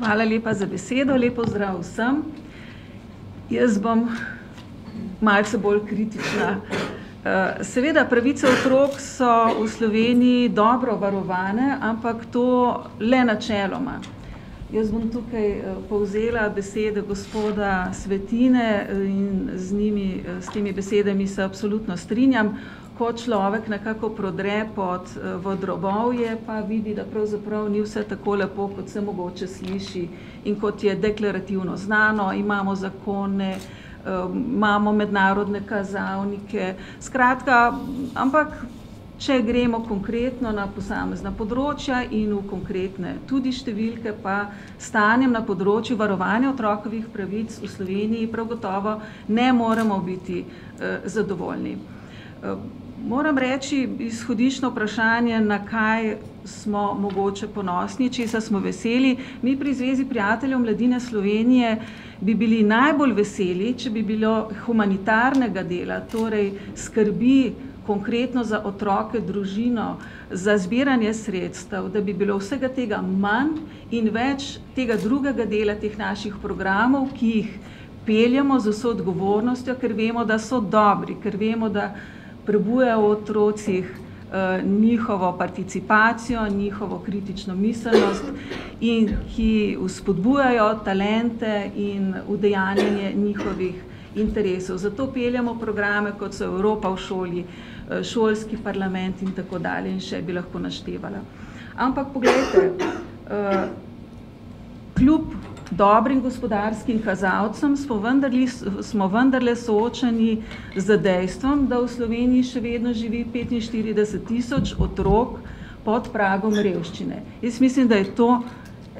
Hvala lepa za besedo, lep pozdrav vsem. Jaz bom malce bolj kritična. seveda, pravice otrok so v Sloveniji dobro varovane, ampak to le načeloma. Jaz bom tukaj, povzela besede gospoda Svetine in z njimi, s temi besedami se absolutno strinjam. Ko človek nekako prodre pod, v drobovje, pa vidi, da pravzaprav ni vse tako lepo, kot se mogoče sliši. In kot je deklarativno znano, imamo zakone, imamo mednarodne kazalnike, skratka, ampak če gremo konkretno na posamezna področja in v konkretne tudi številke, pa s stanjem na področju varovanja otrokovih pravic v Sloveniji prav gotovo ne moremo biti, zadovoljni. moram reči, izhodiščno vprašanje, na kaj smo mogoče ponosni, česa smo veseli. Mi pri Zvezi prijateljev mladine Slovenije bi bili najbolj veseli, če bi bilo humanitarnega dela, torej skrbi konkretno za otroke, družino, za zbiranje sredstev, da bi bilo vsega tega manj, in več tega drugega dela, teh naših programov, ki jih peljemo z vso odgovornostjo, ker vemo, da so dobri, ker vemo, da prebujajo v otrocih, njihovo participacijo, njihovo kritično miselnost in ki vzpodbujajo talente in udejanjanje njihovih interesov. Zato peljemo programe, kot so Evropa v šoli, šolski parlament in tako dalje in še bi lahko naštevala. Ampak poglejte, kljub dobrim gospodarskim kazalcem smo smo vendarle soočeni z dejstvom, da v Sloveniji še vedno živi petinštirideset tisoč otrok pod pragom revščine. Jaz mislim, da je to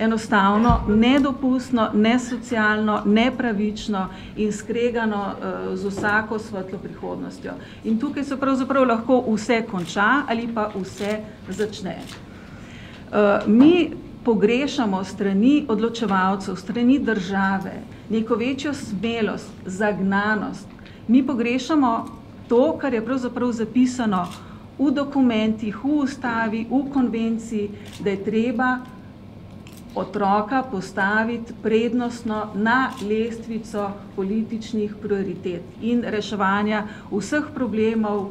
enostavno nedopustno, nesocialno, nepravično in skregano, z vsako svetlo prihodnostjo. In tukaj se pravzaprav lahko vse konča ali pa vse začne. mi pogrešamo s strani odločevalcev, s strani države neko večjo smelost, zagnanost. Mi pogrešamo to, kar je pravzaprav zapisano v dokumentih, v Ustavi, v Konvenciji, da je treba otroka postaviti prednostno na lestvico političnih prioritet in reševanja vseh problemov,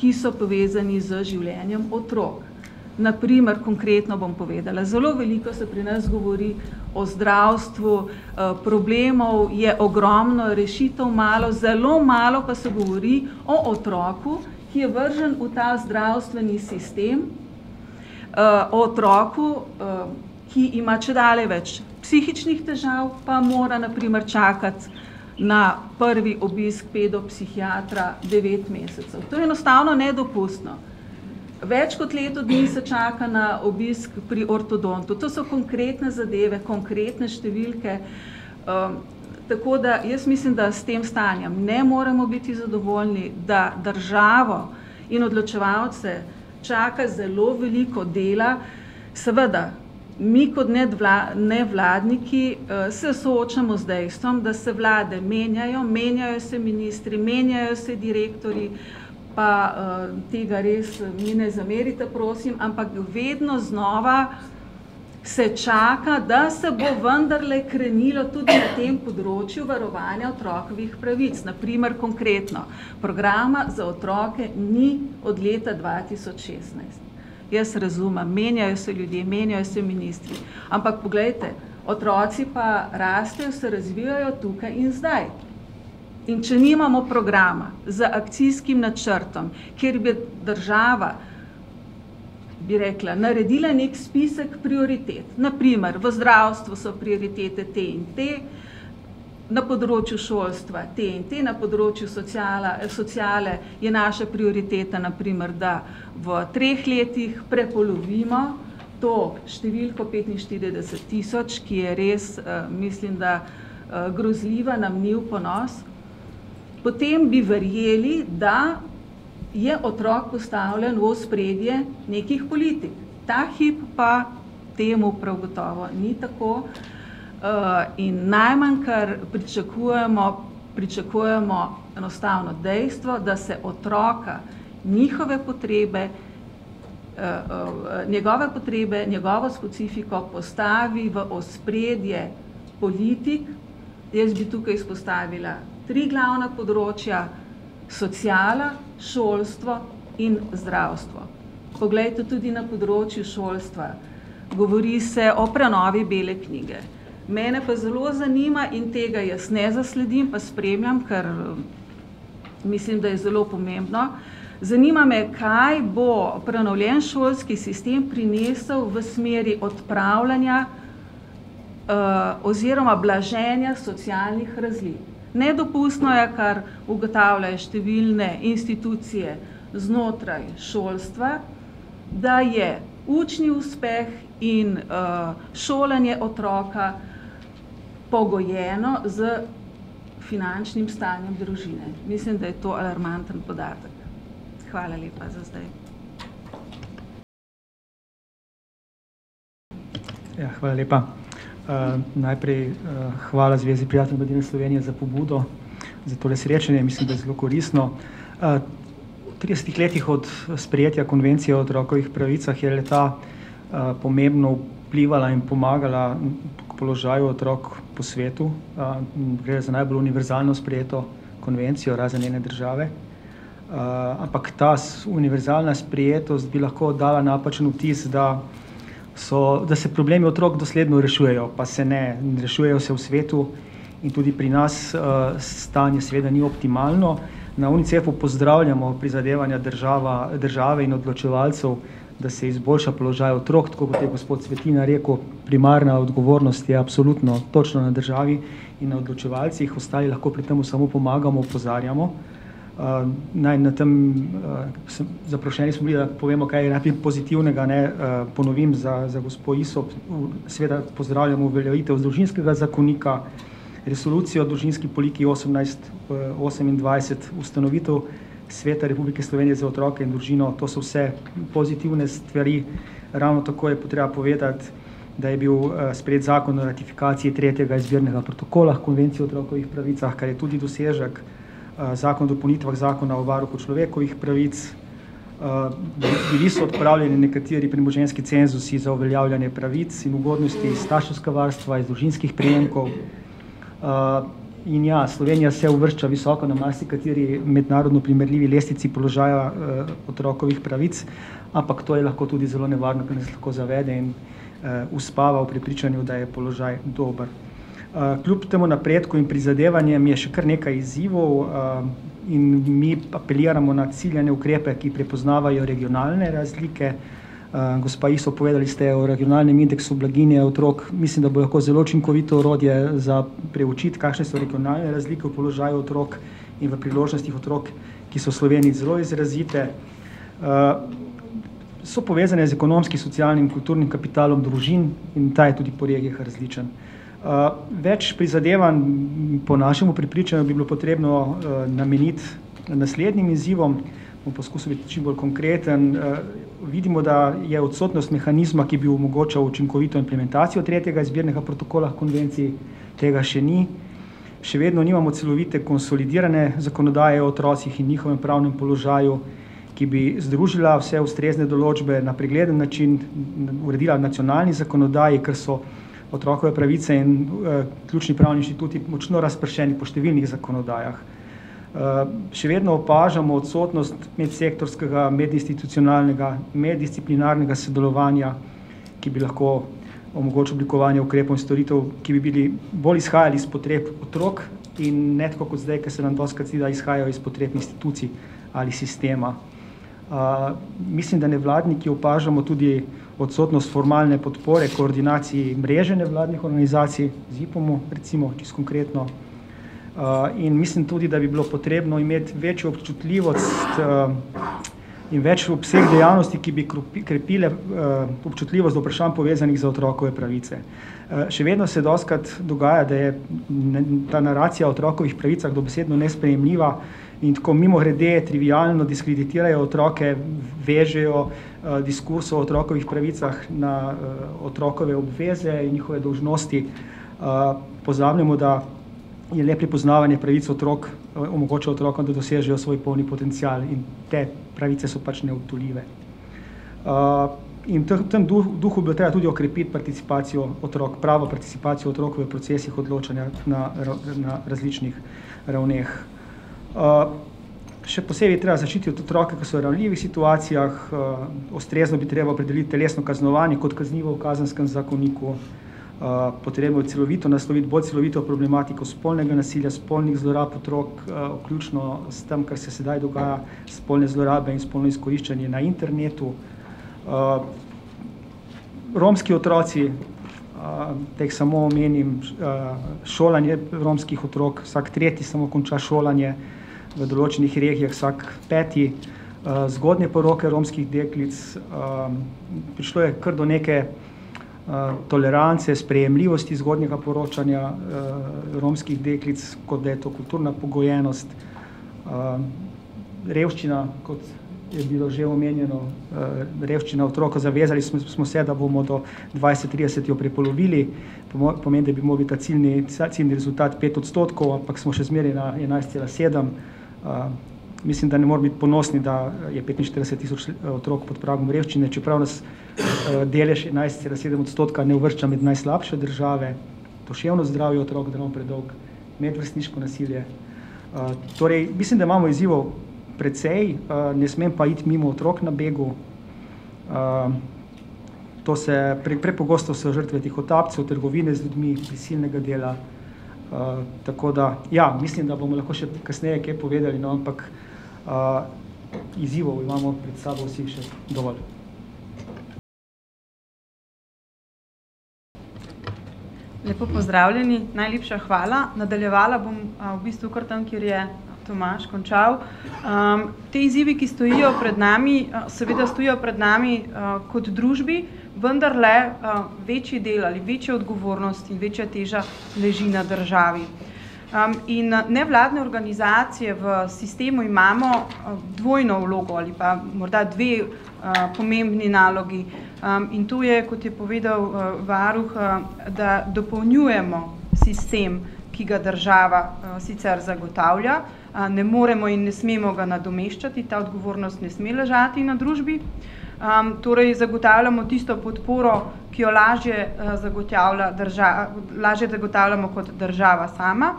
ki so povezani z življenjem otrok. Na primer, konkretno bom povedala. Zelo veliko se pri nas govori o zdravstvu, problemov je ogromno, rešitev malo, zelo malo pa se govori o otroku, ki je vržen v ta zdravstveni sistem, o otroku, ki ima čedalje več psihičnih težav, pa mora na primer čakati na prvi obisk pedopsihiatra devet mesecev. To je enostavno nedopustno. Več kot leto dni se čaka na obisk pri ortodontu. To so konkretne zadeve, konkretne številke, tako da jaz mislim, da s tem stanjem ne moremo biti zadovoljni, da državo in odločevalce čaka zelo veliko dela. Seveda, mi kot nevladniki, se soočamo z dejstvom, da se vlade menjajo, menjajo se ministri, menjajo se direktorji. Pa, tega res mi ne zamerite, prosim, ampak vedno znova se čaka, da se bo vendarle krenilo tudi na tem področju varovanja otrokovih pravic. Na primer, konkretno programa za otroke ni od leta dva tisoč šestnajst. Jaz razumem, menjajo se ljudje, menjajo se ministri, ampak poglejte, otroci pa rastejo, se razvijajo tukaj in zdaj. In če nimamo programa z akcijskim načrtom, kjer bi država, bi rekla, naredila neki spisek prioritet, na primer, v zdravstvu so prioritete te in te, na področju šolstva te in te, na področju sociale je naša prioriteta na primer, da v treh letih prepolovimo to številko petinštirideset tisoč, ki je res, mislim, da, grozljiva, nam ni v ponos. Potem bi verjeli, da je otrok postavljen v ospredje nekih politik. Ta hip pa temu prav gotovo ni tako, in najmanj, kar pričakujemo, pričakujemo enostavno dejstvo, da se otroka, njihove potrebe, njegove potrebe, njegovo specifiko postavi v ospredje politik. Jaz bi tukaj izpostavila tri glavna področja. Sociala, šolstvo in zdravstvo. Poglejte, tudi na področju šolstva, govori se o prenovi bele knjige, mene pa zelo zanima in tega jaz ne zasledim, pa spremljam, ker, mislim, da je zelo pomembno. Zanima me, kaj bo prenovljen šolski sistem prinesel v smeri odpravljanja, oziroma blaženja socialnih razlik. Nedopustno je, kar ugotavljajo številne institucije znotraj šolstva, da je učni uspeh in, šolanje otroka pogojeno s finančnim stanjem družine. Mislim, da je to alarmanten podatek. Hvala lepa za zdaj. Ja, hvala lepa. najprej, hvala Zvezi prijateljev mladine Slovenije za pobudo za tole srečanje. Mislim, da je zelo koristno. v tridesetih letih od sprejetja Konvencije o otrokovih pravicah je le-ta, pomembno vplivala in pomagala položaju otrok po svetu. gre za najbolj univerzalno sprejeto konvencijo, razen ene države. ampak ta univerzalna sprejetost bi lahko dala napačen vtis, da so, da se problemi otrok dosledno rešujejo, pa se ne. Rešujejo se v svetu in tudi pri nas, stanje seveda ni optimalno. Na Unicefu pozdravljamo prizadevanja država, države in odločevalcev, da se izboljša položaj otrok, tako kot je gospod Svetina rekel, primarna odgovornost je absolutno točno na državi in odločevalcih, ostali lahko pri tem samo pomagamo, opozarjamo. naj na tam, zaprošeni smo bili, da povemo kaj pozitivnega, ne. Naj ponovim za, za gospo Isops, seveda pozdravljamo uveljavitev družinskega zakonika, resolucije o družinski politiki osemnajst, osemindvajset, ustanovitev sveta Republike Slovenije za otroke in družino. To so vse pozitivne stvari. Ravno tako je pa treba povedati, da je bil, sprejet zakon o ratifikaciji tretjega izbirnega protokola Konvencije o otrokovih pravicah, kar je tudi dosežek. zakon o dopolnitvah zakona o varuhu človekovih pravic, bili so odpravljeni nekateri premoženjski cenzusi za uveljavljanje pravic in ugodnosti starševskega varstva iz družinskih prejemkov, in ja, Slovenija se uvršča visoko na marsikateri mednarodni primerljivi lestvici položaja, otrokovih pravic, ampak to je lahko tudi zelo nevarno, ker nas lahko zavede in, uspava v prepričanju, da je položaj dober. kljub temu napredku in prizadevanjem je še kar nekaj izzivov, in mi apeliramo na ciljane ukrepe, ki prepoznavajo regionalne razlike. gospa Isop, povedali ste o regionalnem indeksu blaginje otrok. Mislim, da bo lahko zelo učinkovito orodje za preučiti, kakšne so regionalne razlike v položaju otrok in v priložnostih otrok, ki so v Sloveniji zelo izrazite. so povezane z ekonomskim, socialnim, kulturnim kapitalom družin, in ta je tudi po regijah različen. več prizadevanj po našem prepričanju bi bilo potrebno nameniti naslednjim izzivom. Bom poskusil biti čim bolj konkreten. vidimo, da je odsotnost mehanizma, ki bi omogočal učinkovito implementacijo tretjega izbirnega protokola konvencije, tega še ni. Še vedno nimamo celovite konsolidirane zakonodaje o otrocih in njihovem pravnem položaju, ki bi združila vse ustrezne določbe na pregleden način, uredila nacionalni zakonodaji, ker so otrokove pravice in ključni pravni inštituti močno razpršeni po številnih zakonodajah. še vedno opažamo odsotnost medsektorskega, medinstitucionalnega, meddisciplinarnega sodelovanja, ki bi lahko omogočilo oblikovanje ukrepov in storitev, ki bi bili, bolj izhajali iz potreb otrok in ne tako kot zdaj, ke se nam dostikrat zdi, da izhajajo iz potreb institucij ali sistema. mislim, da nevladniki opažamo tudi odsotnost formalne podpore koordinacij mreženja vladnih organizacij, Zipomu, recimo, čisto konkretno. in mislim tudi, da bi bilo potrebno imeti večjo občutljivost, in večji obseg dejavnosti, ki bi krepile, občutljivost do vprašanj, povezanih za otrokove pravice. še vedno se dostikrat dogaja, da je ta naracija o otrokovih pravicah dobesedno nesprejemljiva, in tako mimogrede, trivialno diskreditirajo otroke, vežejo, diskusijo o otrokovih pravicah na, otrokove obveze in njihove dolžnosti. pozabljamo, da le prepoznavanje pravic otrok omogoča otrokom, da dosežejo svoj polni potencial. In te pravice so pač neodtujljive. in v tem duhu bo treba tudi okrepiti participacijo otrok, pravo participacijo otrok v procesih odločanja na na različnih ravneh. še posebej je treba zaščititi otroke, ki so v ranljivih situacijah, ustrezno bi bilo treba opredeliti telesno kaznovanje kot kaznivo v kazenskem zakoniku, potrebno je celovito nasloviti, bolj celovito, problematiko spolnega nasilja, spolnih zlorab otrok, vključno s tem, kar se sedaj dogaja, spolne zlorabe in spolno izkoriščanje na internetu. romski otroci, da jih samo omenim, šolanje romskih otrok. Vsak tretji samo konča šolanje, v določenih regijah vsak peti. zgodnje poroke romskih deklic, prišlo je kar do neke, tolerance, sprejemljivosti zgodnjega poročanja, romskih deklic, kot da je to kulturna pogojenost. revščina, kot je bilo že omenjeno, revščina otrok. Zavezali smo se, da bomo do dvajset trideset jo prepolovili. pomeni, da bi mogli ta ciljni rezultat pet odstotkov, ampak smo še zmeraj na enajst cela sedem. mislim, da ne moremo biti ponosni, da je petinštirideset tisoč otrok pod pragom revščine, čeprav nas, delež enajst cela sedem odstotka ne uvršča med najslabše države. Duševno zdravje otrok, da ne bom predolg, medvrstniško nasilje. torej mislim, da imamo izzivov precej, ne smem pa iti mimo otrok na begu, to se prepogosto so žrtve tihotapcev, trgovine z ljudmi, prisilnega dela, tako da, ja, mislim, da bomo lahko še kasneje kaj povedali, no, ampak, izzivov imamo pred sabo vsi še dovolj. Lepo pozdravljeni. Najlepša hvala. Nadaljevala bom, v bistvu kar tam, kjer je Tomaž končal. ti izzivi, ki stojijo pred nami, seveda stojijo pred nami kot družbi, vendarle, večji del ali večjo odgovornost in večja teža leži na državi. in, nevladne organizacije v sistemu imamo dvojno vlogo ali pa morda dve, pomembni nalogi. in to je, kot je povedal varuh, da dopolnjujemo sistem, ki ga država, sicer zagotavlja, ne moremo in ne smemo ga nadomeščati, ta odgovornost ne sme ležati na družbi. torej zagotavljamo tisto podporo, ki jo lažje, zagotavlja lažje zagotavljamo kot država sama.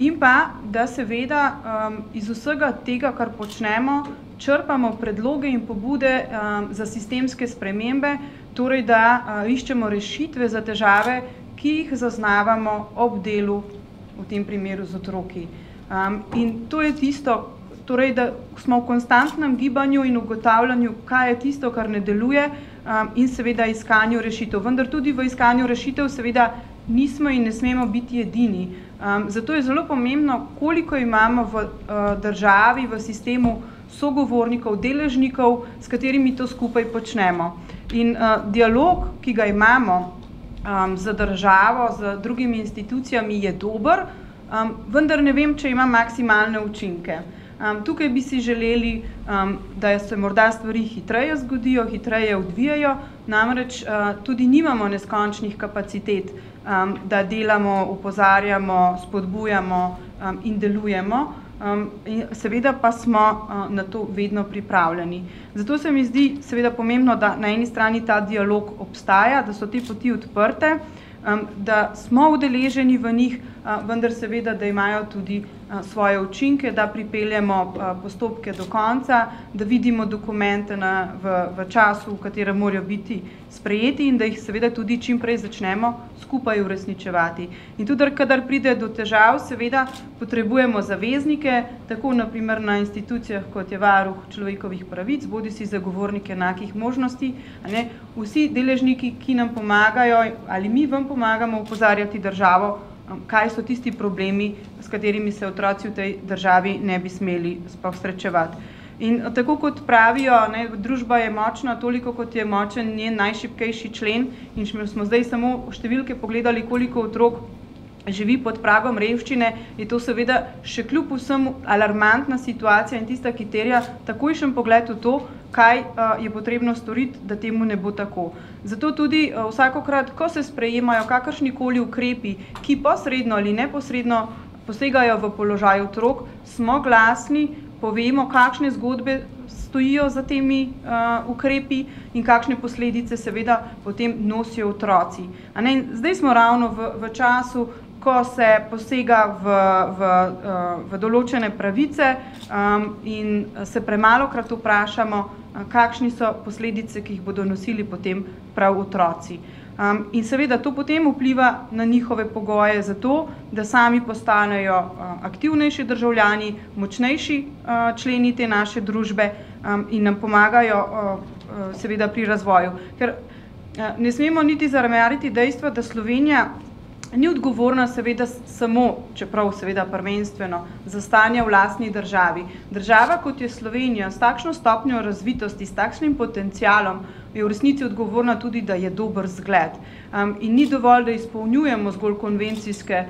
In pa da seveda, iz vsega tega, kar počnemo, črpamo predloge in pobude, za sistemske spremembe, torej da, iščemo rešitve za težave, ki jih zaznavamo ob delu v tem primeru z otroki. in to je tisto, torej da smo v konstantnem gibanju in ugotavljanju, kaj je tisto, kar ne deluje, in seveda iskanju rešitev. Vendar tudi v iskanju rešitev seveda nismo in ne smemo biti edini. zato je zelo pomembno, koliko imamo, v državi, v sistemu sogovornikov, deležnikov, s katerimi to skupaj počnemo. In, dialog, ki ga imamo, z državo, z drugimi institucijami, je dober, vendar ne vem, če ima maksimalne učinke. tukaj bi si želeli, da se morda stvari hitreje zgodijo, hitreje odvijejo. Namreč, tudi nimamo neskončnih kapacitet, da delamo, opozarjamo, spodbujamo, in delujemo, seveda pa smo, na to vedno pripravljeni. Zato se mi zdi seveda pomembno na eni strani, da ta dialog obstaja, da so te poti odprte, da smo udeleženi v njih, vendar seveda, da imajo tudi, svoje učinke, da pripeljemo, postopke do konca, da vidimo dokumente na, v, v času, v katerem morajo biti sprejeti, in da jih seveda tudi čim prej začnemo skupaj uresničevati. In tudi, kadar pride do težav, seveda potrebujemo zaveznike. Tako na primer na institucijah, kot je varuh človekovih pravic bodisi zagovornik enakih možnosti, a ne. Vsi deležniki, ki nam pomagajo ali mi vam pomagamo opozarjati državo, kaj so tisti problemi, s katerimi se otroci v tej državi ne bi smeli sploh srečevati. In, tako kot pravijo, ne, družba je močna toliko, kot je močen njen najšibkejši člen. In če smo zdaj samo številke pogledali, koliko otrok živi pod pragom revščine, je to seveda še kljub vsemu alarmantna situacija in je tista, ki terja takojšen pogled v to, kaj, je potrebno storiti, da temu ne bo tako. Zato tudi vsakokrat, ko se sprejemajo kakršnikoli ukrepi, ki posredno ali neposredno posegajo v položaj otrok, smo glasni, povemo, kakšne zgodbe stojijo za temi, ukrepi in kakšne posledice seveda potem nosijo otroci, a ne. Zdaj smo ravno v v času, ko se posega v, v, določene pravice, in se premalokrat vprašamo, kakšne so posledice, ki jih bodo nosili potem prav otroci. in seveda, to potem vpliva na njihove pogoje za to, da sami postanejo, aktivnejši državljani, močnejši, členi te naše družbe in nam pomagajo, seveda pri razvoju. Ker ne smemo niti zanemariti dejstva, da Slovenija ni odgovorna seveda samo, čeprav seveda prvenstveno, za stanje v lastni državi. Država, kot je Slovenija, s takšno stopnjo razvitosti, s takšnim potencialom, je v resnici odgovorna tudi, da je dober zgled. in ni dovolj, da izpolnjujemo zgolj konvencijske,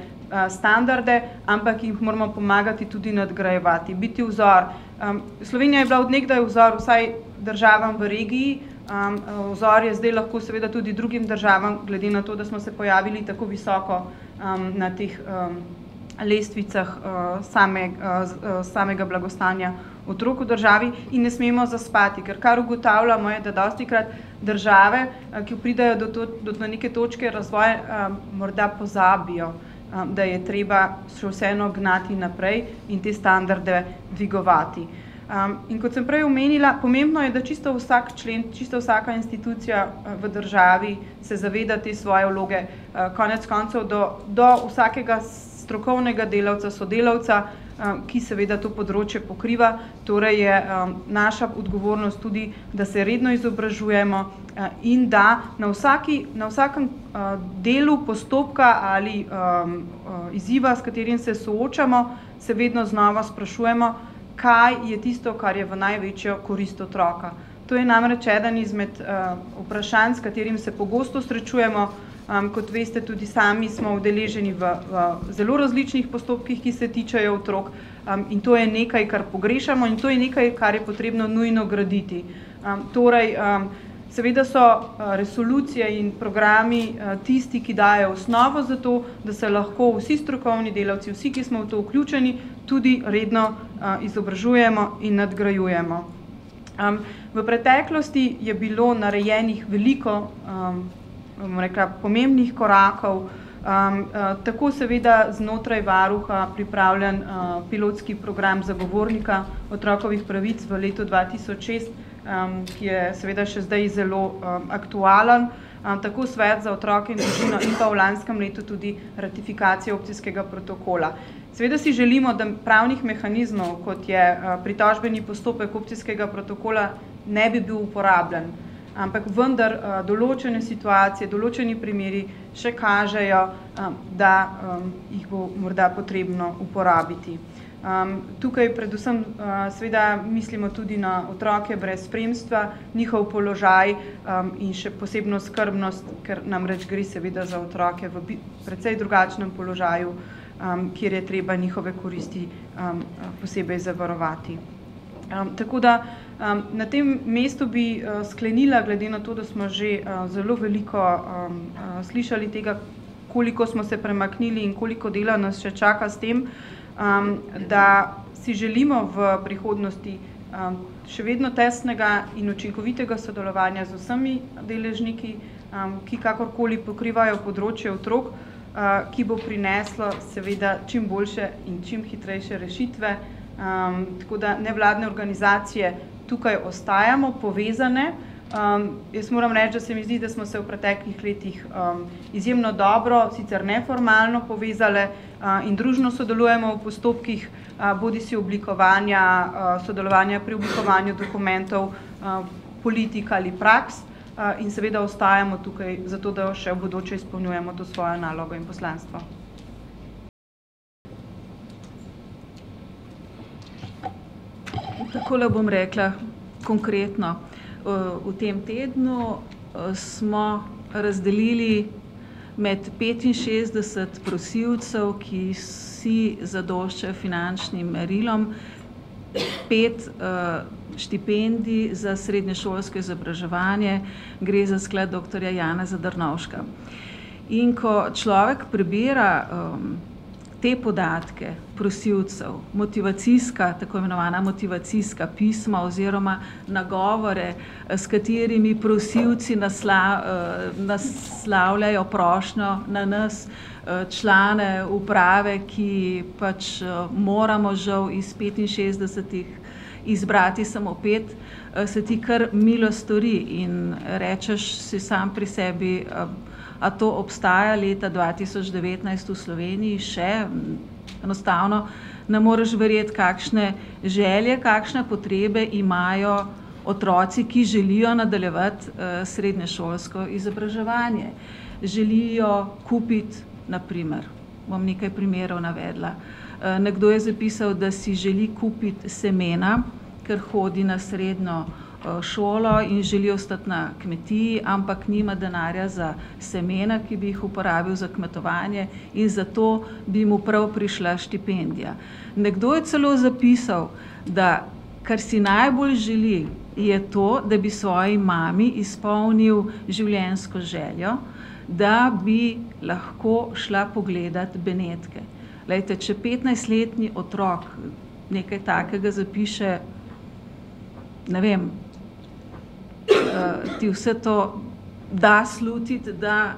standarde, ampak jih moramo pomagati tudi nadgrajevati, biti vzor. Slovenija je bila od nekdaj vzor vsaj državam v regiji, vzor je zdaj lahko seveda tudi drugim državam, glede na to, da smo se pojavili tako visoko, na teh, lestvicah, same, samega blagostanja otrok v državi. In ne smemo zaspati. Ker kar ugotavljamo, je, da dostikrat države, ki pridejo do neke točke razvoja, morda pozabijo, da je treba še vseeno gnati naprej in te standarde dvigovati. in kot sem prej omenila, pomembno je, da čisto vsak člen, čisto vsaka institucija, v državi se zaveda te svoje vloge, konec koncev do, do vsakega strokovnega delavca, sodelavca, ki seveda to področje pokriva, torej je, naša odgovornost tudi, da se redno izobražujemo, in da na vsaki, na vsakem, delu postopka ali, izziva, s katerim se soočamo, se vedno znova sprašujemo, kaj je tisto, kar je v največjo korist otroka. To je namreč eden izmed, vprašanj, s katerim se pogosto srečujemo, kot veste, tudi sami smo udeleženi v, v zelo različnih postopkih, ki se tičejo otrok, in to je nekaj, kar pogrešamo, in to je nekaj, kar je potrebno nujno graditi. torej, seveda so resolucije in, programi tisti, ki dajejo osnovo za to, da se lahko vsi strokovni delavci, vsi, ki smo v to vključeni, tudi redno, izobražujemo in nadgrajujemo. v preteklosti je bilo narejenih veliko, bom rekla, pomembnih korakov, tako seveda znotraj varuha pripravljen, pilotski program zagovornika otrokovih pravic v letu dva tisoč šest, ki je seveda še zdaj zelo, aktualen, tako Svet za otroke in družino in pa v lanskem letu tudi ratifikacija opcijskega protokola. Seveda si želimo, da pravnih mehanizmov, kot je, pritožbeni postopek opcijskega protokola, ne bi bil uporabljen. Ampak vendar, določene situacije, določeni primeri še kažejo, da, jih bo morda potrebno uporabiti. tukaj predvsem, mislimo tudi na otroke brez spremstva, njihov položaj, in še posebno skrbnost, kar namreč gre seveda za otroke v precej drugačnem položaju, kjer je treba njihove koristi posebej zavarovati. tako da, na tem mestu bi, sklenila, glede na to, da smo že, zelo veliko, slišali tega, koliko smo se premaknili in koliko dela nas še čaka s tem, da si želimo v prihodnosti, še vedno tesnega in učinkovitega sodelovanja z vsemi deležniki, ki kakorkoli pokrivajo področje otrok, ki bo prineslo seveda čim boljše in čim hitrejše rešitve. tako da nevladne organizacije tukaj ostajamo povezane. jaz moram reči, da se mi zdi, da smo se v preteklih letih, izjemno dobro, sicer neformalno povezale, in družno sodelujemo v postopkih, bodisi oblikovanja, sodelovanja pri oblikovanju dokumentov, politik ali praks, in seveda ostajamo tukaj zato, da še v bodoče izpolnjujemo to svojo nalogo in poslanstvo. Takole bom rekla konkretno. v tem tednu, smo razdelili med petinšestdeset prosilcev, ki vsi zadoščajo finančnim merilom, pet, štipendij za srednješolsko izobraževanje. Gre za Sklad doktorja Janeza Drnovška. In ko človek prebira, te podatke prosilcev, motivacijska, tako imenovana motivacijska pisma oziroma nagovore, s katerimi prosilci naslavljajo prošnjo na nas, člane uprave, ki pač moramo žal iz petinšestdesetih izbrati samo pet, se ti kar milo stori in rečeš si sam pri sebi: a to obstaja leta dva tisoč devetnajst v Sloveniji še?" Enostavno ne moreš verjeti, kakšne želje, kakšne potrebe imajo otroci, ki želijo nadaljevati, srednješolsko izobraževanje. Želijo kupiti na primer, bom nekaj primerov navedla, nekdo je zapisal, da si želi kupiti semena, ker hodi na srednjo, šolo in želi ostati na kmetiji, ampak nima denarja za semena, ki bi jih uporabil za kmetovanje, in zato bi mu prav prišla štipendija. Nekdo je celo zapisal, da kar si najbolj želi, je to, da bi svoji mami izpolnil življenjsko željo, da bi lahko šla pogledat Benetke. Glejte, če petnajstletni otrok nekaj takega zapiše, ne vem, ti vse to da slutiti, da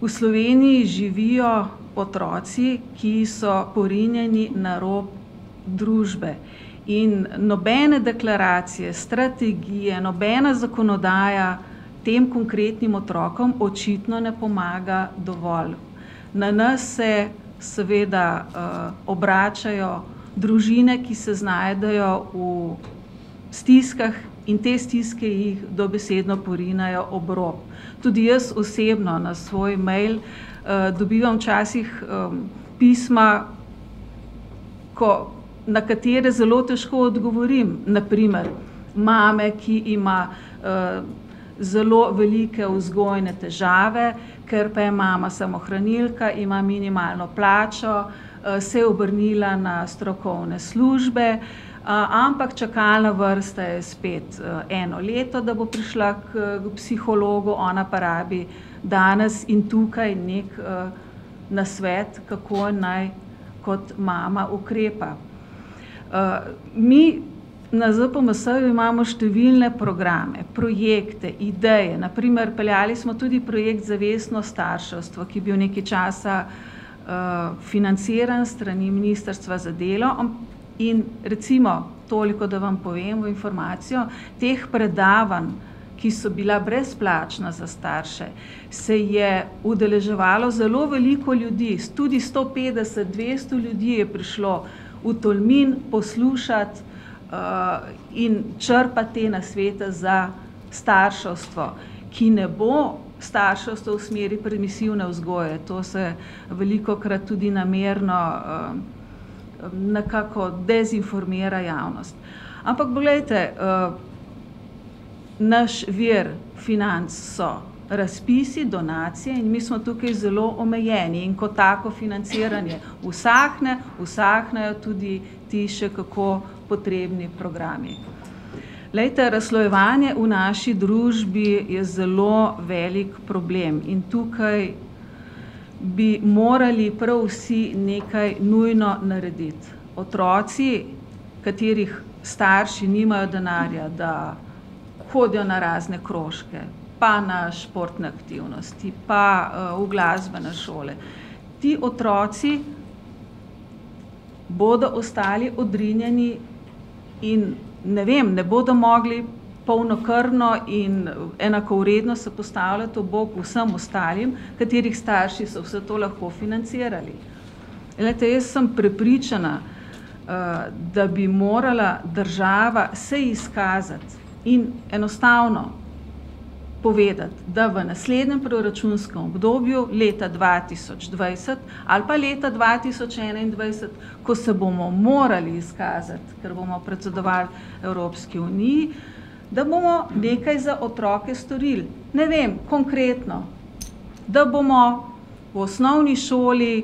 v Sloveniji živijo otroci, ki so porinjeni na rob družbe. In nobene deklaracije, strategije, nobena zakonodaja tem konkretnim otrokom očitno ne pomaga dovolj. Na nas se seveda, obračajo družine, ki se znajdejo v stiskah, in te stiske jih dobesedno porinejo ob rob. Tudi jaz osebno na svoj mail, dobivam včasih, pisma, ko, na katere zelo težko odgovorim. Na primer, mame, ki ima, zelo velike vzgojne težave, ker pa je mama samohranilka, ima minimalno plačo, se je obrnila na strokovne službe, ampak čakalna vrsta je spet, eno leto, da bo prišla k psihologu, ona pa rabi danes in tukaj neki, nasvet, kako naj kot mama ukrepa. mi na ZPMS-ju imamo številne programe, projekte, ideje. Na primer peljali smo tudi projekt zavestno starševstvo, ki je bil nekaj časa, financiran s strani ministrstva za delo, in recimo, toliko, da vam povem v informacijo, teh predavanj, ki so bila brezplačna za starše, se je udeleževalo zelo veliko ljudi, tudi sto petdeset, dvesto ljudi je prišlo v Tolmin poslušat, in črpat te nasvete za starševstvo, ki ne bo starševstvo v smeri permisivne vzgoje, to se velikokrat tudi namerno, nekako dezinformira javnost. Ampak poglejte, naš vir financ so razpisi, donacije in mi smo tukaj zelo omejeni. In ko tako financiranje usahne, usahnejo tudi ti še kako potrebni programi. Glejte, razslojevanje v naši družbi je zelo velik problem in tukaj bi morali prav vsi nekaj nujno narediti. Otroci, katerih starši nimajo denarja, da hodijo na razne krožke, pa na športne aktivnosti, pa, v glasbene šole, ti otroci bodo ostali odrinjeni in, ne vem, ne bodo mogli polnokrvno in enakovredno se postavljati ob bok vsem ostalim, katerih starši so vse to lahko financirali. Glejte, jaz sem prepričana, da bi morala država se izkazati in enostavno povedati, da v naslednjem proračunskem obdobju leta dva tisoč dvajset ali pa leta dva tisoč enaindvajset, ko se bomo morali izkazati, ker bomo predsedovali Evropski uniji, da bomo nekaj za otroke storili. Ne vem, konkretno, da bomo v osnovni šoli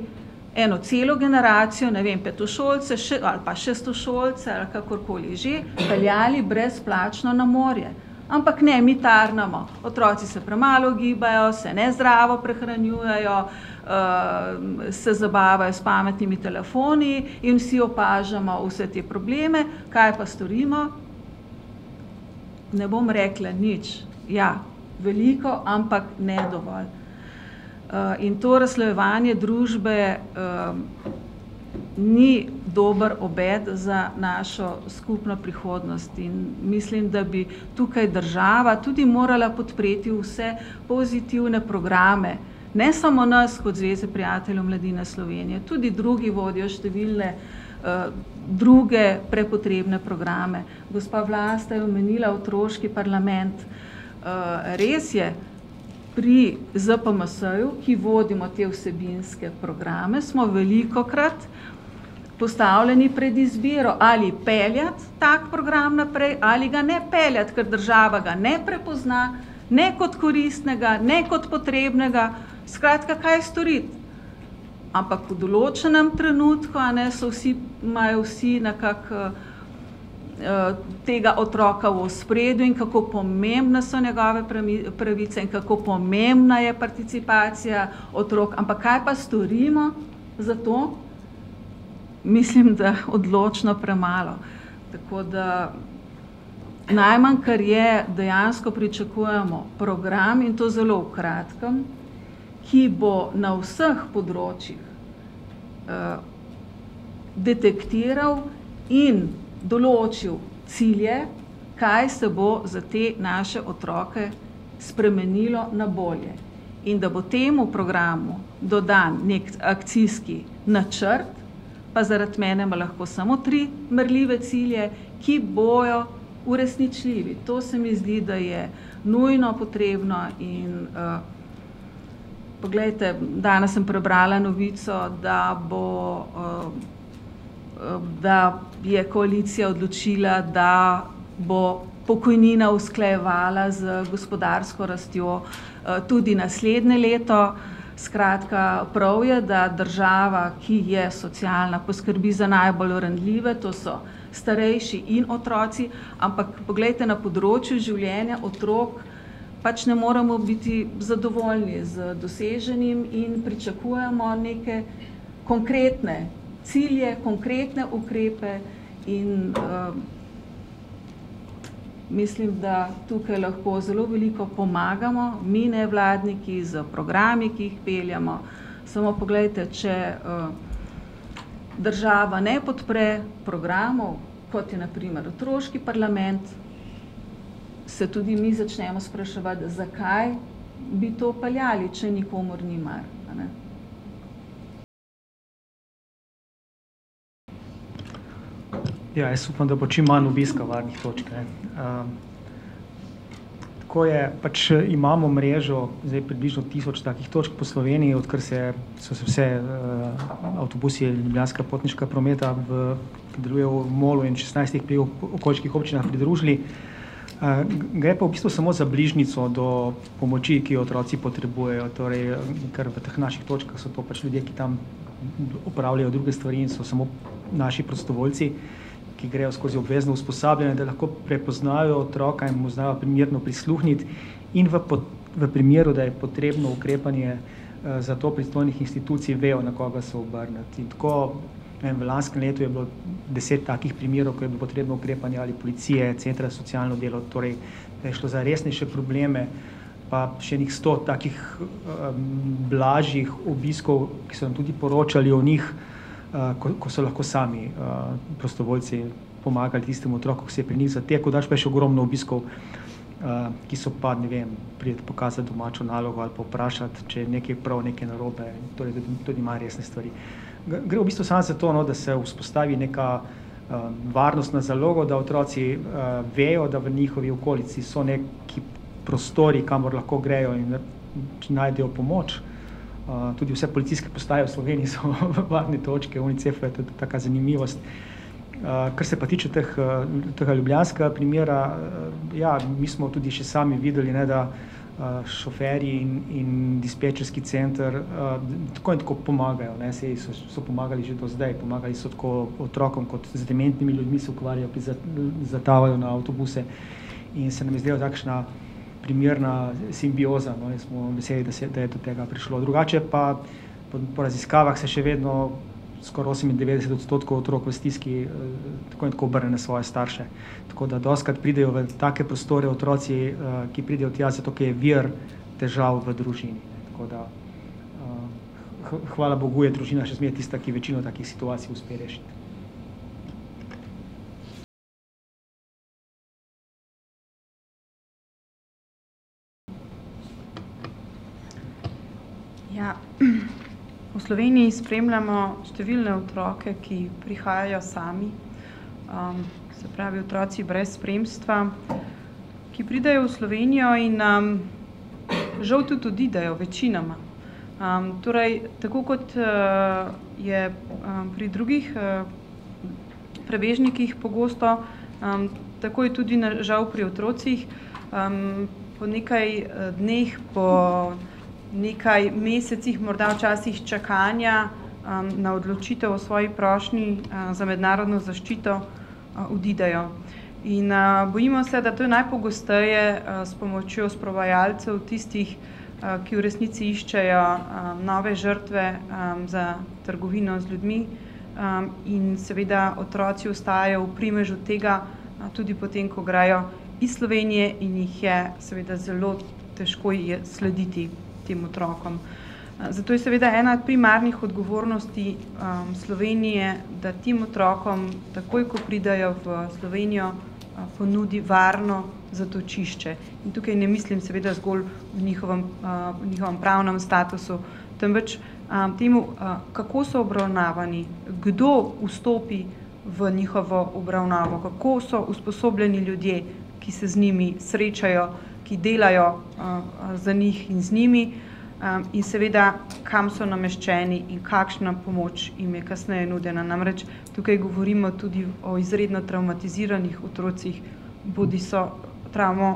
eno celo generacijo, ne vem, petošolce, ali pa šestošolce ali kakorkoli že, peljali brezplačno na morje. Ampak ne, mi tarnamo. Otroci se premalo gibajo, se nezdravo prehranjujejo, se zabavajo s pametnimi telefoni, in vsi opažamo vse te probleme. Kaj pa storimo? Ne bom rekla nič. Ja, veliko, ampak ne dovolj. in to razslojevanje družbe, ni dober obet za našo skupno prihodnost in mislim, da bi tukaj država tudi morala podpreti vse pozitivne programe, ne samo nas kot Zveze prijateljev mladine Slovenije, tudi drugi vodijo številne, druge prepotrebne programe. Gospa Vlasta je omenila otroški parlament. res je, pri ZPMS-ju, ki vodimo te vsebinske programe, smo velikokrat postavljeni pred izbiro, ali peljati ta program naprej ali ga ne peljati, kar država ga ne prepozna ne kot koristnega ne kot potrebnega. Skratka, kaj storiti? Ampak v določenem trenutku, a ne, so vsi, imajo vsi nekako, tega otroka v ospredju in kako pomembne so njegove pravice in kako pomembna je participacija otrok. Ampak kaj pa storimo za to? Mislim, da odločno premalo. Tako da ... Najmanj, kar je, dejansko pričakujemo program, in to zelo v kratkem, ki bo na vseh področjih, detektiral in določil cilje, kaj se bo za te naše otroke spremenilo na bolje, in da bo temu programu dodan neki akcijski načrt, pa zaradi mene ima lahko samo tri merljive cilje, ki bojo uresničljivi. To se mi zdi, da je nujno potrebno in, poglejte, danes sem prebrala novico, da bo, da je koalicija odločila, da bo pokojnine usklajevala z gospodarsko rastjo, tudi naslednje leto. Skratka, prav je, da država, ki je socialna, poskrbi za najbolj ranljive. To so starejši in otroci. Ampak poglejte, na področju življenja otrok pač ne moremo biti zadovoljni z doseženim in pričakujemo neke konkretne cilje, konkretne ukrepe in, mislim, da tukaj lahko zelo veliko pomagamo mi, nevladniki, s programi, ki jih peljemo. Samo poglejte, če, država ne podpre programov, kot je na primer otroški parlament, se tudi mi začnemo spraševati, zakaj bi to peljali, če nikomur ni mar, ne. Ja, jaz upam, da bo čim manj obiska varnih točk, ne. tako je, pač imamo mrežo, zdaj, približno tisoč takih točk po Sloveniji, odkar se so se vse, avtobusi Ljubljanskega potniškega prometa v MOL-u in šestnajstih okoliških občinah pridružili. gre pa v bistvu samo za bližnjico do pomoči, ki jo otroci potrebujejo, torej, ker v teh naših točkah so to pač ljudje, ki tam opravljajo druge stvari in so samo naši prostovoljci, ki grejo skozi obvezno usposabljanje, da lahko prepoznajo otroka in mu znajo primerno prisluhniti. In v v primeru, da je potrebno ukrepanje za to pristojnih institucij, vejo, na koga se obrniti. In tako, ne vem, v lanskem letu je bilo deset takih primerov, ko je bilo potrebno ukrepanje ali policije, centra za socialno delo, torej da je šlo za resnejše probleme. pa še ene sto takih, blažjih obiskov, ki smo tudi poročali o njih, ko so lahko sami, prostovoljci pomagali tistemu otroku, ki se je pri njih zatekel. Drugače pa je še ogromno obiskov, ki so pa, ne vem, pride pokazat domačo nalogo ali pa vprašat, če je nekaj prav, nekaj narobe, torej tudi manj resne stvari. Gre v bistvu samo za to, no, da se vzpostavi neka varnostna zaloga, da otroci, vejo, da v njihovi okolici so neki prostori, kamor lahko grejo, in najdejo pomoč. tudi vse policijske postaje v Sloveniji so v varni točki Unicefa, tudi taka zanimivost. kar se pa tiče teh, tega ljubljanskega primera, ja, mi smo tudi še sami videli, ne, da, šoferji in dispečerski center, tako in tako pomagajo, ne, saj so pomagali že do zdaj. Pomagali so tako otrokom kot z dementnimi ljudmi se ukvarjajo, ki zatavajo na avtobuse. In se nam je zdelo takšna primerna simbioza, no, in smo veseli, da se je, da je do tega prišlo. Drugače pa po raziskavah se še vedno skoraj osemindevetdeset otrok v stiski, tako in tako obrne na svoje starše. Tako da dostikrat pridejo v take prostore otroci, ki pridejo tja zato, ker je vir težav v družini. Tako da, hvala bogu je družina še vedno tista, ki večino takih situacij uspe rešiti. Ja, V Sloveniji spremljamo številne otroke, ki prihajajo sami, se pravi otroci brez spremstva, ki pridejo v Slovenijo in, žal tudi odidejo, večinoma. torej, tako kot, je, pri drugih, prebežnikih pogosto, tako je tudi žal pri otrocih. po nekaj dneh, po nekaj mesecih morda včasih, čakanja, na odločitev o svoji prošnji, za mednarodno zaščito, odidejo. In, bojimo se, da to je najpogosteje, s pomočjo sprovajalcev, tistih, ki v resnici iščejo, nove žrtve, za trgovino z ljudmi. in seveda otroci ostajajo v primežu tega tudi po tem, ko grejo iz Slovenije in jih je seveda zelo težko je slediti tem otrokom. Zato je seveda ena od primarnih odgovornosti, Slovenije, da tem otrokom takoj, ko pridejo v Slovenijo, ponudi varno zatočišče. In tukaj ne mislim seveda zgolj o njihovem, o njihovem pravnem statusu, temveč, temu, kako so obravnavani, kdo vstopi v njihovo obravnavo, kako so usposobljeni ljudje, ki se z njimi srečajo, ki delajo, za njih in z njimi, in seveda, kam so nameščeni in kakšna pomoč jim je kasneje nudena. Namreč tukaj govorimo tudi o izredno travmatiziranih otrocih, bodiso travmo,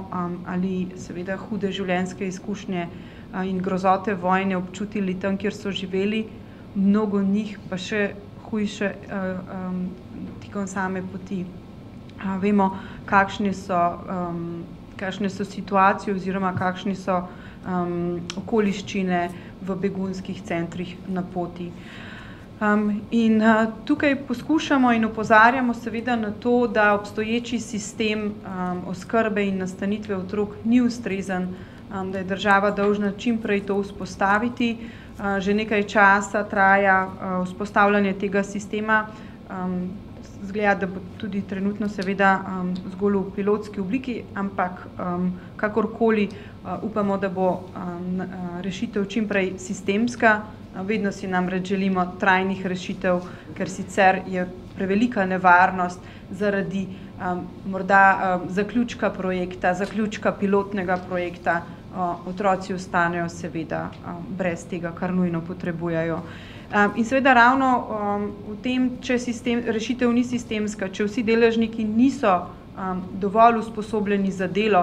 ali seveda hude življenjske izkušnje, in grozote vojne občutili tam, kjer so živeli, mnogo njih pa še hujše, tekom same poti. vemo, kakšni so, kakšne so situacije oziroma kakšne so, okoliščine v begunskih centrih na poti. in, tukaj poskušamo in opozarjamo seveda na to, da obstoječi sistem, oskrbe in nastanitve otrok ni ustrezen, da je država dolžna čim prej to vzpostaviti, že nekaj časa traja, vzpostavljanje tega sistema, izgleda, da bo tudi trenutno seveda zgolj v pilotski obliki, ampak, kakorkoli, upamo, da bo, rešitev čim prej sistemska. Vedno si namreč želimo trajnih rešitev, ker sicer je prevelika nevarnost zaradi, morda, zaključka projekta, zaključka pilotnega projekta, otroci ostanejo seveda brez tega, kar nujno potrebujejo. in seveda ravno, v tem, če rešitev ni sistemska, če vsi deležniki niso, dovolj usposobljeni za delo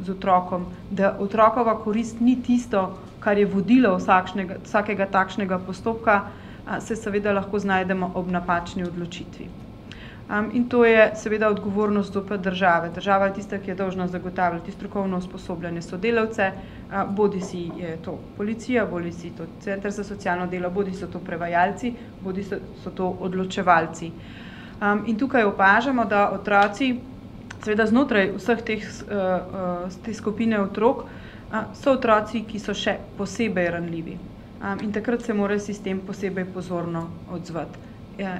z otrokom, da otrokova korist ni tisto, kar je vodilo vsakega takšnega postopka, se seveda lahko znajdemo ob napačni odločitvi. in to je seveda odgovornost zopet države. Država je tista, ki je dolžna zagotavljati strokovno usposobljene sodelavce, bodisi je to policija bodisi je to center za socialno delo bodisi so to prevajalci bodisi so to odločevalci. in tukaj opažamo, da otroci seveda znotraj vseh teh, te skupine otrok so otroci, ki so še posebej ranljivi. in takrat se mora sistem posebej pozorno odzvati.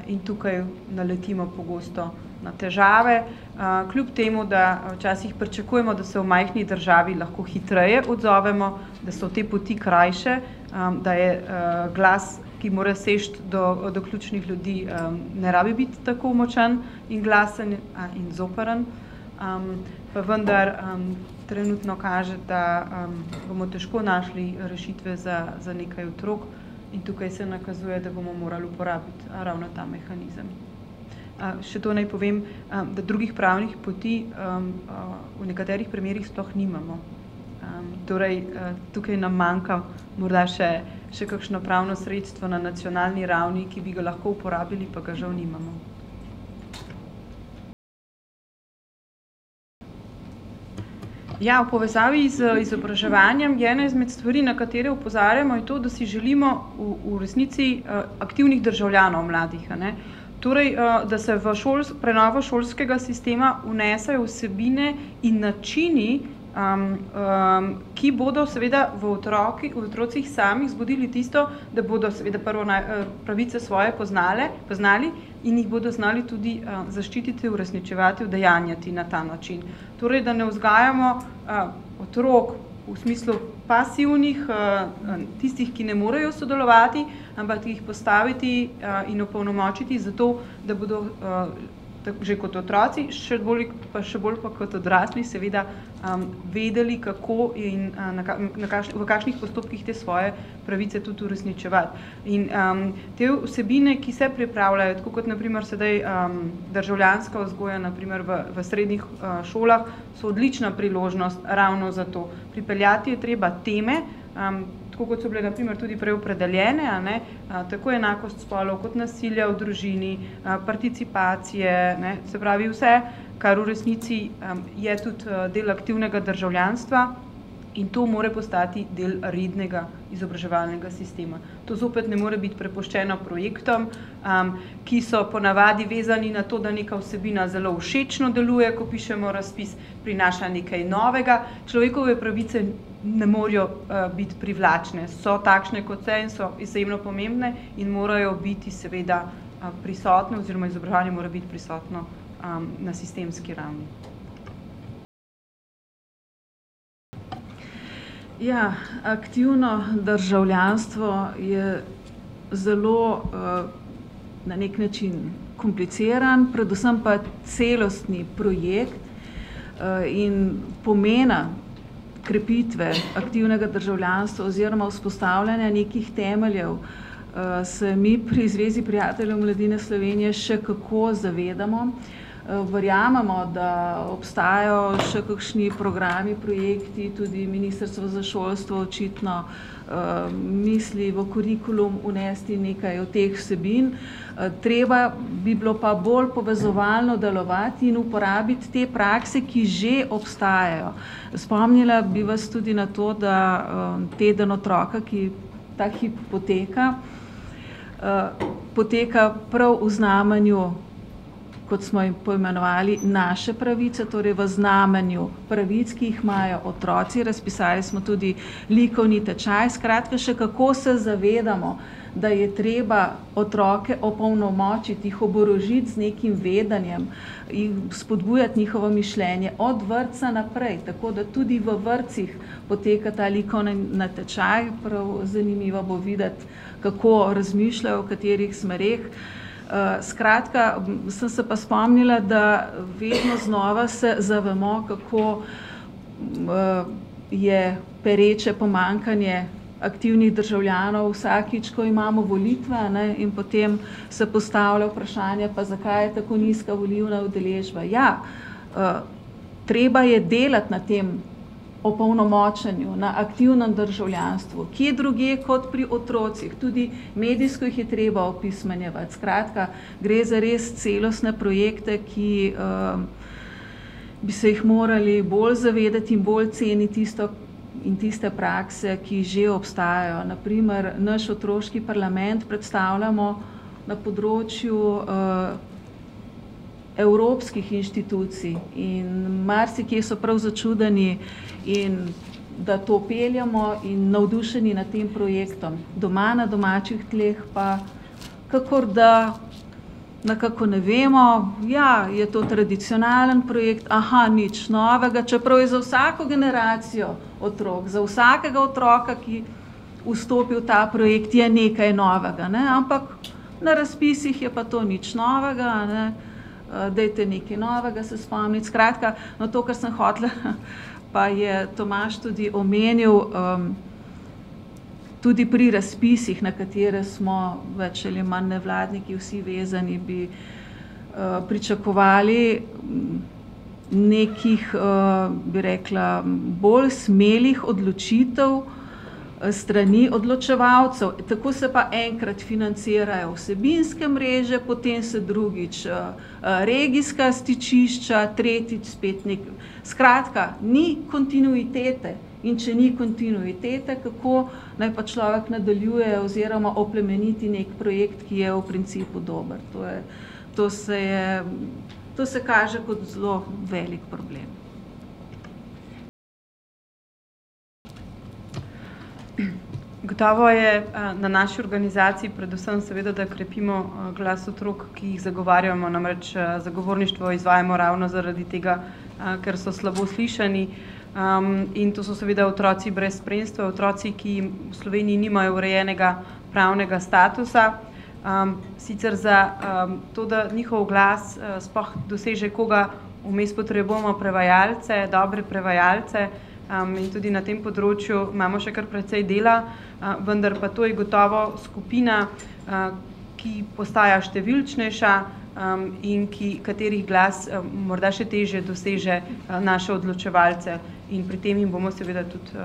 in tukaj naletimo pogosto na težave, kljub temu da včasih pričakujemo, da se v majhni državi lahko hitreje odzovemo, da so te poti krajše, da je, glas, ki more seči do, do ključnih ljudi, ne rabi biti tako močan in glasen in zoprn, pa vendar trenutno kaže, da, bomo težko našli rešitve za, za nekaj otrok, in tukaj se nakazuje, da bomo morali uporabiti ravno ta mehanizem. še to naj povem, d drugih pravnih poti, v nekaterih primerih sploh nimamo. torej, tukaj nam manjka morda še, še kakšno pravno sredstvo na nacionalni ravni, ki bi ga lahko uporabili, pa ga žal nimamo. Ja, v povezavi z izobraževanjem je ena izmed stvari, na katere opozarjamo, je to, da si želimo v, v resnici aktivnih državljanov mladih, a ne. Torej, da se v prenovo šolskega sistema vnesejo vsebine in načini, ki bodo seveda v otrocih samih zbudili tisto, da bodo seveda prvo naj pravice svoje poznali, poznali, in jih bodo znali tudi, zaščititi, uresničevati, udejanjati na ta način. Torej, da ne vzgajamo, otrok v smislu pasivnih, tistih, ki ne morejo sodelovati, ampak jih postaviti, in opolnomočiti za to, da bodo, že kot otroci, še bolj še bolj pa kot odrasli seveda, vedeli, kako in v v kakšnih postopkih te svoje pravice tudi uresničevati. In, te vsebine, ki se pripravljajo, tako kot na primer sedaj, državljanska vzgoja na primer v, v srednjih, šolah, so odlična priložnost ravno za to. Pripeljati je treba teme, tako kot so bile na primer tudi prej opredeljene, a ne, tako enakost spolov kot nasilje v družini, participacije, ne. Se pravi vse, kar v resnici je tudi, del aktivnega državljanstva, in to mora postati del rednega izobraževalnega sistema. To zopet ne more biti prepuščeno projektom, ki so ponavadi vezani na to, da neka vsebina zelo všečno deluje, ko pišemo razpis, prinaša nekaj novega. Človekove pravice ne morejo, biti privlačne. So takšne, kot se, in so izjemno pomembne in morajo biti seveda, prisotne oziroma izobraževanje mora biti prisotno, na sistemski ravni. Ja, aktivno državljanstvo je zelo, na neki način kompliciran, predvsem pa celostni projekt, in pomena krepitve aktivnega državljanstva oziroma vzpostavljanja nekih temeljev, se mi pri Zvezi prijateljev mladine Slovenije še kako zavedamo. verjamemo, da obstajajo še kakšni programi, projekti, tudi ministrstvo za šolstvo očitno, misli v kurikulum vnesti nekaj od teh vsebin. treba bi bilo pa bolj povezovalno delovati in uporabiti te prakse, ki že obstajajo, spomnila bi vas tudi na to, da, teden otroka, ki ta hip poteka, poteka prav v znamenju, kot smo jo poimenovali, naše pravice, torej v znamenju pravic, ki jih imajo otroci. Razpisali smo tudi likovni tečaj. Skratka, še kako se zavedamo, da je treba otroke opolnomočiti, jih oborožiti z nekim vedenjem, jim spodbujati njihovo mišljenje od vrtca naprej. Tako da tudi v vrtcih poteka ta likovni natečaj. Prav zanimivo bo videti, kako razmišljajo, v katerih smereh. skratka, sem se pa spomnila, da vedno znova se zavemo, kako, je pereče pomanjkanje aktivnih državljanov, vsakič, ko imamo volitve, a ne, in potem se postavlja vprašanje: "Pa zakaj je tako nizka volilna udeležba?" Ja, treba je delati na tem opolnomočenju, na aktivnem državljanstvu. Kje drugje kot pri otrocih. Tudi medijsko jih je treba opismenjevati. Skratka, gre za res celostne projekte, ki, bi se jih morali bolj zavedati, bolj ceniti tisto in tiste prakse, ki že obstajajo. Na primer naš otroški parlament predstavljamo na področju, evropskih inštitucij in marsikje so prav začudeni in, da to peljemo, in navdušeni nad tem projektom. Doma, na domačih tleh, pa kakor, da nekako ne vemo. Ja, je to tradicionalni projekt. nič novega. Čeprav je z vsako generacijo otrok, za vsakega otroka, ki vstopi v ta projekt, je nekaj novega, ne. Ampak na razpisih je pa to nič novega, a ne, dajte nekaj novega se spomniti. Skratka, no, to kar sem hotela, pa je Tomaž tudi omenil, tudi pri razpisih, na katere smo več ali manj nevladniki vsi vezani, bi, pričakovali, nekih, bi rekla, bolj smelih odločitev, s strani odločevalcev. Tako se pa enkrat financirajo vsebinske mreže, potem se drugič, regijska stičišča, tretjič spet neki ... Skratka, ni kontinuitete. In če ni kontinuitete, kako naj pa človek nadaljuje oziroma oplemeniti neki projekt, ki je v principu dober. To je, to se je, to se kaže kot zelo velik problem. Gotovo je, na naši organizaciji predvsem seveda, da krepimo, glas otrok, ki jih zagovarjamo. Namreč, zagovorništvo izvajamo ravno zaradi tega, ker so slabo slišani. in to so seveda otroci brez spremstva, otroci, ki v Sloveniji nimajo urejenega pravnega statusa. sicer za, to, da njihov glas sploh doseže koga, vmes potrebujemo prevajalce, dobre prevajalce, in tudi na tem področju imamo še kar precej dela. Vendar pa to je gotovo skupina, ki postaja številčnejša, in ki, katerih glas morda še težje doseže, naše odločevalce. In pri tem jim bomo seveda tudi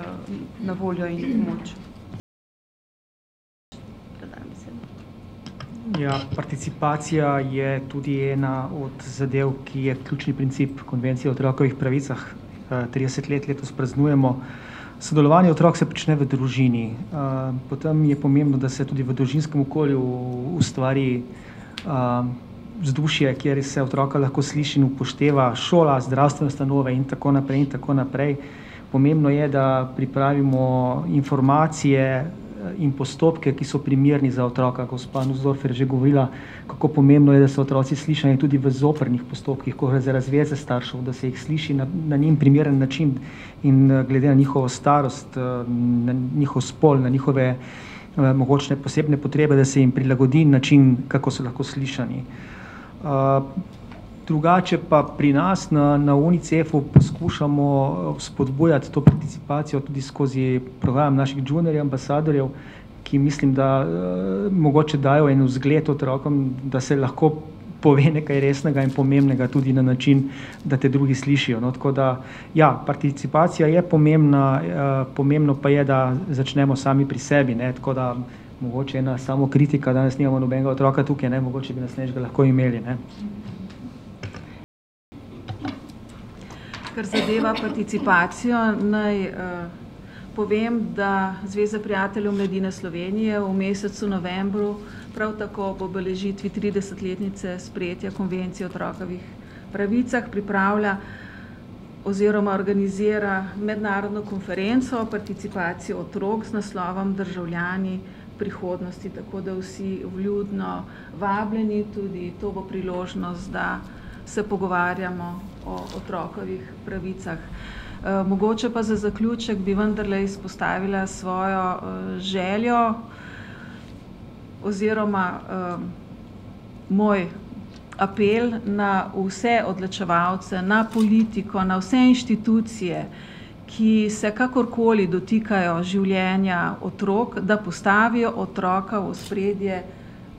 na voljo in v pomoč. Ja, participacija je tudi ena od zadev, ki je ključni princip Konvencije o otrokovih pravicah. trideset let letos praznujemo. Sodelovanje otrok se prične v družini. potem je pomembno, da se tudi v družinskem okolju ustvari, vzdušje, kjer se otroka lahko sliši in upošteva. Šola, zdravstvene ustanove in tako naprej in tako naprej. Pomembno je, da pripravimo informacije, in postopke, ki so primerni za otroka. Gospa Nussdorfer je že govorila, kako pomembno je, da so otroci slišani, in tudi v zoprnih postopkih, ko gre za razveze staršev, da se jih sliši na njim primeren način in glede na njihovo starost, na njihov spol, na njihove mogoče posebne potrebe, da se jim prilagodi način, kako so lahko slišani. drugače pa pri nas na, na Unicefu poskušamo, vzpodbujati to participacijo tudi skozi program naših Junior ambasadorjev, ki mislim, da, mogoče dajo en zgled otrokom, da se lahko pove nekaj resnega in pomembnega tudi na način, da te drugi slišijo, no. Tako da ja, participacija je pomembna, pomembno pa je, da začnemo sami pri sebi, ne. Tako da mogoče ena samokritika, danes nimamo nobenega otroka tukaj, ne, mogoče bi naslednjič ga lahko imeli, ne. Kar zadeva participacijo, naj, povem, da Zveza prijateljev mladine Slovenije v mesecu novembru prav tako ob obeležitvi tridesetletnice sprejetja Konvencije o otrokovih pravicah pripravlja oziroma organizira mednarodno konferenco o participaciji otrok z naslovom Državljani prihodnosti, tako da vsi vljudno vabljeni. Tudi to bo priložnost, da se pogovarjamo o otrokovih pravicah. mogoče pa za zaključek bi vendarle izpostavila svojo, željo oziroma, moj apel na vse odločevalce, na politiko, na vse inštitucije, ki se kakorkoli dotikajo življenja otrok, da postavijo otroka v ospredje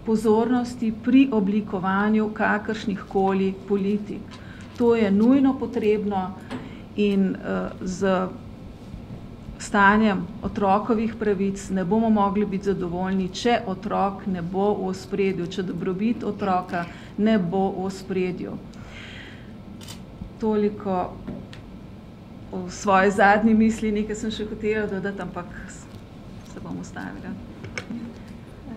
pozornosti, pri oblikovanju kakršnihkoli politik. To je nujno potrebno in, s stanjem otrokovih pravic ne bomo mogli biti zadovoljni, če otrok ne bo v ospredju, če dobrobit otroka ne bo v ospredju. Toliko o svoji zadnji misli. Nekaj sem še hotela dodati, ampak se bom ustavila.